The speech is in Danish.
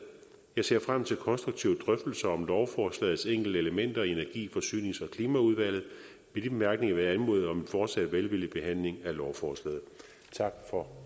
jeg ser frem til konstruktive drøftelser om lovforslagets enkeltelementer i energi forsynings og klimaudvalget med de bemærkninger vil jeg anmode om en fortsat velvillig behandling af lovforslaget tak for